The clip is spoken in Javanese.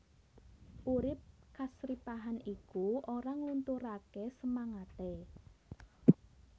Urip kasripahan iku ora nglunturaké semangaté